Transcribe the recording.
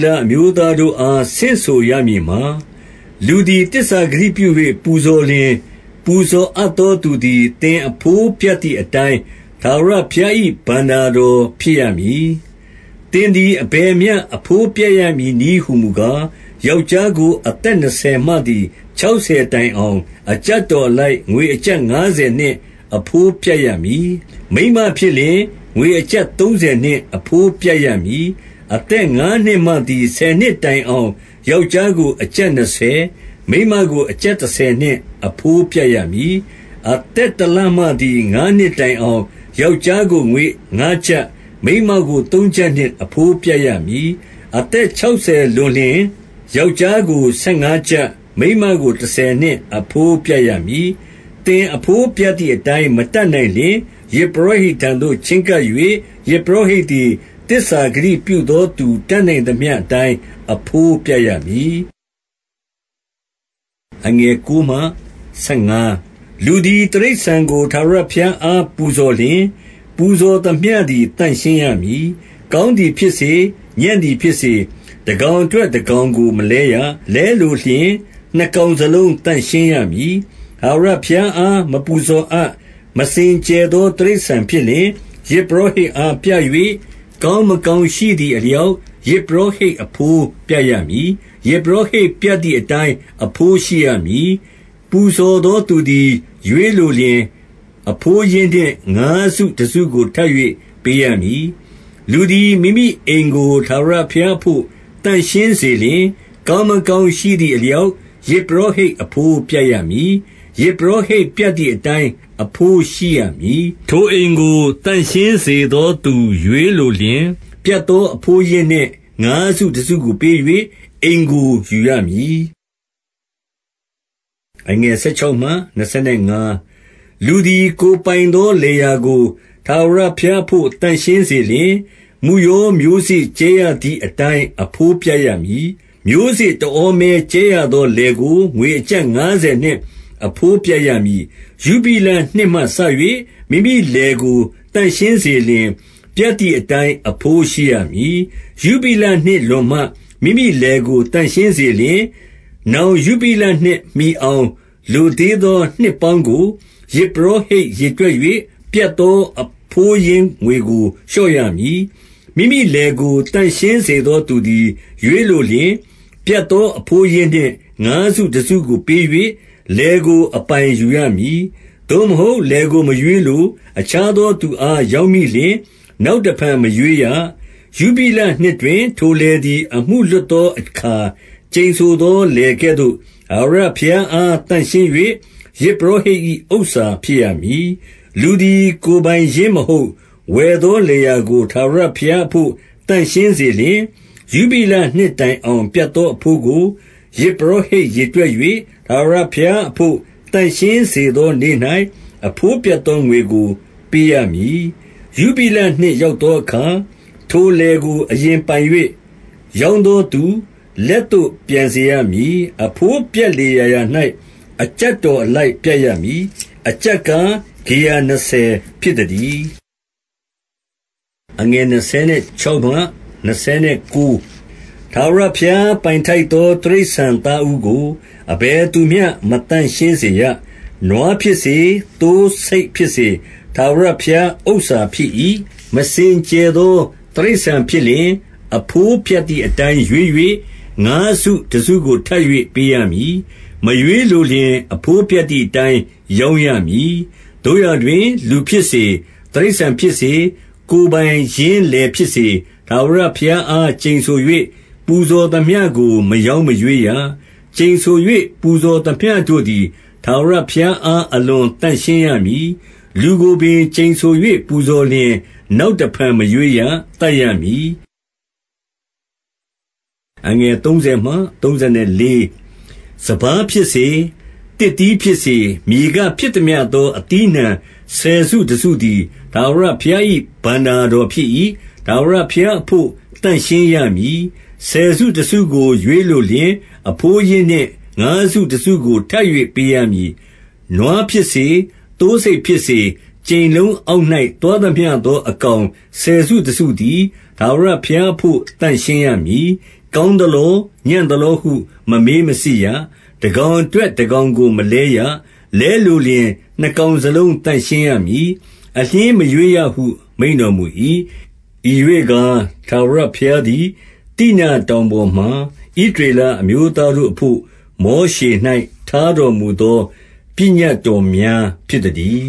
လအမျိုးသားတို့အား ဆင့်ဆိုရမည်မှာ၊ 2 လူသည် သစ္စာဂတိပြု၍ ပူဇော်လျှင်၊ ပူဇော်အပ်သော သူသည်၊ သင်အဘိုးပြတ်သည်အတိုင်း ထာဝရ ဘုရား၏ ဘဏ္ဍာတော် ဖြစ်ရမည်။ 3 သင်သည် အဘယ်မျှ အဘိုးပြတ်ရမည်နည်းဟူမူကား၊ ယောက်ျားကို အသက်နှစ်ဆယ်မှသည် ခြောက်ဆယ်တိုင်အောင်၊ အကျပ်တော်အလိုက် ငွေအကျပ်ငါးဆယ်နှင့် အဘိုးပြတ်ရမည်။ 4 မိန်းမဖြစ်လျှင်၊ ငွေအကျပ်သုံးဆယ်နှင့် အဘိုးပြတ်ရမည်။ 5 အသက်ငါးနှစ်မှသည် ဆယ်နှစ်တိုင်အောင်၊ ယောက်ျားကို အကျပ်နှစ်ဆယ်၊ မိန်းမကို အကျပ်တဆယ် နှင့် အဘိုးပြတ်ရမည်။ 6 အသက်တလမှသည် ငါးနှစ်တိုင်အောင်၊ ယောက်ျားကို ငွေငါးကျပ်၊ မိန်းမကို သုံးကျပ်နှင့် အဘိုး ပြတ်ရမည်။ 7 အသက်ခြောက်ဆယ်လွန်လျှင်၊ ယောက်ျားကို ဆယ်ငါးကျပ်၊ မိန်းမကို တဆယ်နှင့် အဘိုးပြတ်ရမည်။ 8 သင်အဘိုးပြတ်သည်အတိုင်း၊ မတတ်နိုင်လျှင်၊ ယဇ်ပုရောဟိတ်ထံသို့ ချဉ်းကပ်၍၊ ယဇ်ပုရောဟိတ် သည် သစ္စာဂတိပြုသောသူ တတ်နိုင်သမျှအတိုင်း အဘိုးပြတ်ရမည်။ 9 လူသည် တိရစ္ဆာန်ကို ထာဝရဘုရားအား ပူဇော်လျှင်၊ ပူဇော်သမျှသည် သန့်ရှင်းရမည်။ 10 ကောင်းသည်ဖြစ်စေ၊ ညံ့သည်ဖြစ်စေ၊ တကောင်အတွက် တကောင်ကို မလဲရ။ လဲလိုလျှင်၊ နှစ်ကောင် စလုံး သန့်ရှင်းရမည်။ 11 ထာဝရဘုရားအား မပူဇော်အပ်၊ မစင်ကြယ်သော တိရစ္ဆာန်ဖြစ်လျှင်၊ ယဇ်ပုရောဟိတ်အား ပြ၍၊ 12 ကောင်းမကောင်းရှိသည်အလျောက်၊ ယဇ်ပုရောဟိတ် အဘိုးပြတ်ရမည်။ ယဇ်ပုရောဟိတ် ပြတ်သည် အတိုင်း အဘိုးရှိရမည်။ 13 ပူဇော်သော သူသည် ရွေးလိုလျှင်၊ အဘိုးရင်းနှင့် ငါးစုတစုကို ထပ်၍ ပေးရမည်။ 14 လူသည် မိမိအိမ်ကို ထာဝရဘုရားအဘို့ သန့်ရှင်းစေလျှင်၊ ကောင်းမကောင်းရှိသည်အလျောက်၊ ယဇ်ပုရောဟိတ် အဘိုးပြတ်ရမည်။ ယဇ်ပုရောဟိတ်ပြတ်သည်အတိုင်း အဘိုးရှိရမည်။ 15 ထိုအိမ်ကို သန့်ရှင်းစေသောသူ ရွေးလိုလျှင်၊ ပြတ်သောအဘိုးရင်းနှင့် ငါးစုတစုကို ပေး၍ အိမ်ကို ယူရမည်။ 16 လူသည် ကိုယ်ပိုင်သော လယ်ယာကို ထာဝရဘုရားအဘို့ သန့်ရှင်းစေလျှင်၊ မုယောမျိုးစေ့ ကြဲရသည် အတိုင်း အဘိုးပြတ်ရမည်။ မျိုးစေ့ တဩမဲကြဲရသော လယ်ကို၊ ငွေအကျပ် ငါးဆယ်နှင့် အဘိုးပြတ် ရမည်။ 17 ယုဘိလနှစ်မှစ၍ မိမိလယ်ကို သန့်ရှင်းစေလျှင်၊ ပြတ်သည်အတိုင်း အဘိုးရှိရမည်။ 18 ယုဘိလနှစ်လွန်မှ မိမိလယ်ကို သန့်ရှင်းစေလျှင်၊ နောင် ယုဘိလနှစ်မှီအောင် လိုသေးသော နှစ်ပေါင်းကို၊ ယဇ်ပုရောဟိတ် ရေတွက်၍ ပြတ်သော အဘိုးရင်းငွေကို လျှော့ရမည်။ 19 မိမိလယ်ကို သန့်ရှင်းစေသော သူသည် ရွေးလိုလျှင်၊ ပြတ်သော အဘိုးရင်းနှင့် ငါးစုတစုကို ပေး၍ လယ်ကို အပိုင်ယူရမည်။ 20 သို့မဟုတ် လယ်ကိုမရွေးလို၊ အခြားသောသူအား ရောင်းမိလျှင်၊ နောက်တဖန် မရွေးရ။- 21 ယုဘိလနှစ်တွင် ထိုလယ်သည် အမှုလွတ်သောအခါ၊ ကျိန်ဆိုသောလယ်ကဲ့သို့၊ ထာဝရဘုရားအား သန့်ရှင်း၍ ယဇ်ပုရောဟိတ်၏ ဥစ္စာဖြစ်ရမည်။ 22 လူသည် ကိုယ်ပိုင်ရင်းမဟုတ်၊ ဝယ်သော လယ်ယာကို ထာဝရဘုရားအဘို့ သန့်ရှင်းစေလျှင်၊- 23 ယုဘိလနှစ်တိုင်အောင် ပြတ်သောအဘိုးကို၊ ယဇ်ပုရောဟိတ်ရေတွက်၍၊ ထာဝရဘုရားအဘို့ သန့်ရှင်းစေသောနေ့၌ အဘိုးပြတ်သောငွေကို ပေးရမည်။ 24 ယုဘိလနှစ်ရောက်သောအခါ၊ ထိုလယ်ကို အရင်ပိုင်၍ ရောင်းသောသူ လက်သို့ ပြန်စေရမည်။ 25 အဘိုးပြတ်လေရာရာ၌ အကျပ်တော်အလိုက် ပြတ်ရမည်။ အကျပ်ကား၊ ဂေရနှစ်ဆယ်ဖြစ်သတည်း။ 26 ထာဝရဘုရား ပိုင်ထိုက်သော တိရစ္ဆာန်သားဦးကို၊ အဘယ်သူမျှ မသန့်ရှင်းစေရ။ နွားဖြစ်စေ၊ သိုးဆိတ် ဖြစ်စေ၊ ထာဝရဘုရားဥစ္စာဖြစ်၏။ 27 မစင်ကြယ်သော တိရစ္ဆာန်ဖြစ်လျှင်၊ အဘိုးပြတ်သည်အတိုင်း ရွေး၍၊ ငါးစုတစုကို ထပ်၍ ပေးရမည်။ မရွေးလိုလျှင်၊ အဘိုးပြတ်သည်အတိုင်း ရောင်းရမည်။ 28 သို့ရာတွင် လူဖြစ်စေ၊ တိရစ္ဆာန်ဖြစ်စေ၊ ကိုယ်ပိုင်ရင်းလယ်ဖြစ်စေ၊ ထာဝရဘုရားအား ကျိန်ဆို၍ ပူဇော်သမျှကို မရောင်းမရွေးရ။ ကျိန်ဆို၍ ပူဇော်သမျှတို့သည် ထာဝရဘုရားအား အလွန်သန့် ရှင်းရမည်။- 29 လူကိုပင် ကျိန်ဆို၍ ပူဇော်လျှင်၊ နောက်တဖန် မရွေးရ၊ သတ်ရမည်။ 30 စပါးဖြစ်စေ၊ သစ်သီးဖြစ်စေ၊ မြေကဖြစ်သမျှသော အသီးအနှံ ဆယ်စုတစုသည် ထာဝရဘုရား၏ ဘဏ္ဍာတော် ဖြစ်၏။ ထာဝရဘုရားအဘို့ သန့်ရှင်းရမည်။ 31 ဆယ်စုတစုကို ရွေးလိုလျှင်၊ အဘိုးရင်းနှင့်ငါးစုတစုကို ထပ်၍ ပေးရမည်။ 32 နွားဖြစ်စေ၊ သိုးဆိတ်ဖြစ်စေ၊ ကြိမ်လုံးအောက်၌ သွားသမျှသော အကောင် ဆယ်စုတစုသည်၊ ထာဝရ ဘုရားအဘို့ သန့်ရှင်းရမည်။ 33 ကောင်းသလော၊ ညံ့သလောဟု မမေးမစစ်ရ။ တကောင်အတွက် တကောင်ကို မလဲရ။ လဲလိုလျှင် နှစ်ကောင်စလုံး သန့်ရှင်းရမည်။ အလျှင်းမရွေးရဟု မိန့်တော်မူ၏။ 34 ဤရွေ့ကား ထာဝရဘုရားသည်၊ သိနာတောင်ပေါ်မှာ ဣသရေလအမျိုးသားတို့အဘို့ မောရှေ၌ ထားတော်မူသော ပညတ်တော်များ ဖြစ်သတည်